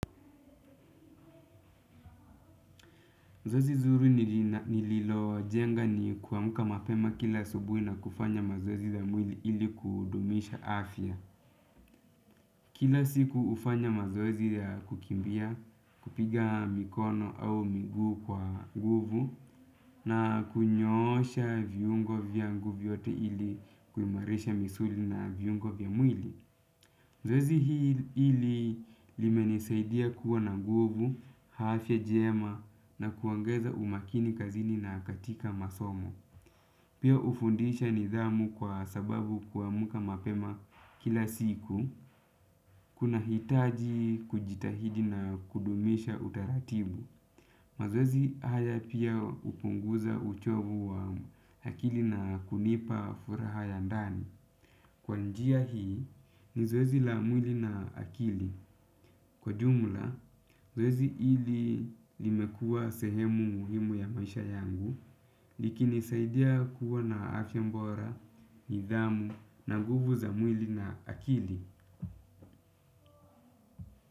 Zoezi zuri nililojenga ni kuamka mapema kila asubuhi na kufanya mazoezi ya mwili ili kudumisha afya. Kila siku hufanya mazoezi ya kukimbia, kupiga mikono au miguu kwa nguvu na kunyoosha viungo vyangu vyote ili kuimarisha misuli na viungo vya mwili. Zoezi hili limenisaidia kuwa na nguvu, afya njema na kuongeza umakini kazini na katika masomo. Pia hufundisha nidhamu kwa sababu kuamka mapema kila siku, kunahitaji kujitahidi na kudumisha utaratibu. Mazoezi haya pia hupunguza uchovu wa akili na kunipa furaha ya ndani. Kwa njia hii ni zoezi la mwili na akili. Kwa jumla, zoezi hili limekua sehemu muhimu ya maisha yangu likinisaidia kuwa na afya bora, nidhamu na nguvu za mwili na akili.